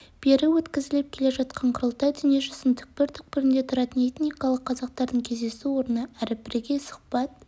бері өткізіліп келе жатқан құрылтай дүниежүзінің түкпір-түкпірінде тұратын этникалық қазақтардың кездесу орны әрі бірегей сұхбат